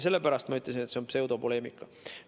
Sellepärast ma ütlesin, et see on pseudopoleemika.